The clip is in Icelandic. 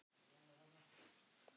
Elska þig, elsku afi minn.